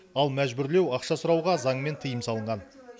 ал мәжбүрлеу ақша сұрауға заңмен тыйым салынған